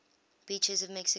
beaches of mexico